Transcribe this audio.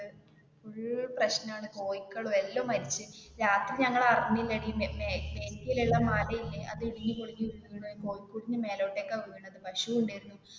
full പ്രെശ്നം ആണ് കോഴികളും എല്ലാം മരിച്ച് രാത്രി ഞങ്ങൾ അറിഞ്ഞില്ലടി back ഉള്ള മലയില്ലേ അത് ഇടിഞ്ഞു പൊളിഞ്ഞു വീണത് പശു ഉണ്ടാർന്ന്.